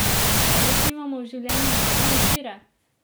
Pa res nimamo v življenju nobene izbire?